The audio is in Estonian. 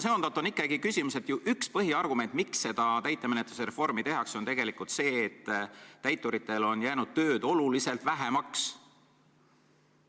Ja ikkagi on küsimus, et üks põhiargument, miks seda täitemenetluse reformi tehakse, on see, et täituritel on tööd oluliselt vähemaks jäänud.